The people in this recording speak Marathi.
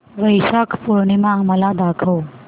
वैशाख पूर्णिमा मला दाखव